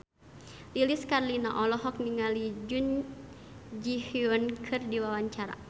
Lilis Karlina olohok ningali Jun Ji Hyun keur diwawancara